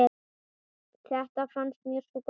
Þetta fannst mér sko gaman.